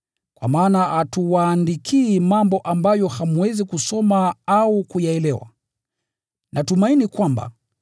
Kwa maana hatuwaandikii mambo ambayo hamwezi kusoma au kuyaelewa. Natumaini kwamba,